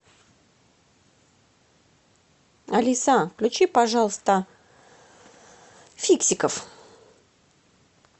алиса включи пожалуйста фиксиков